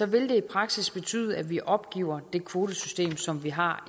vil det i praksis betyde at vi opgiver det kvotesystem som vi har